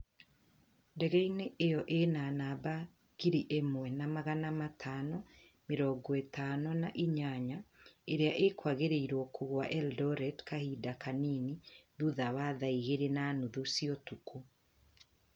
ndegeinĩ ĩyo ĩna namba ngiri ĩmwe na magana matano mĩrongo ĩtano na inya Ĩrĩa ĩkwĩrĩgĩrĩrwo kũgũa Eldoret kahinda kanini thutha wa thaa igĩrĩ na nuthu cia ũtukũ